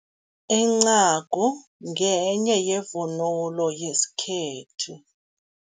Incagu ngenye yevunulo yesikhethu.